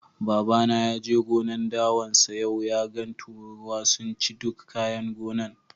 Baba na ya je gonan' dawan sa yau, ya gan tururuwa sun ciye duk kayan gonan'.